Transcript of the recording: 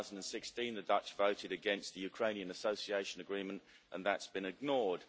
2016. The Dutch voted against the Ukrainian Association Agreement, and that has been ignored.